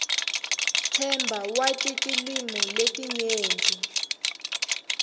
themba wati tilwimi letinyenti